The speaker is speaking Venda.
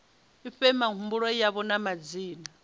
fhe mihumbulo yavho na madzina